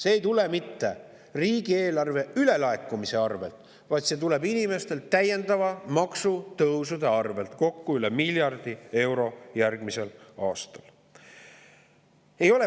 See ei tule mitte riigieelarve ülelaekumise arvel, vaid see tuleb inimestelt täiendavate maksutõusude arvel, nende tõusudega järgmisel aastal kokku üle miljardi euro.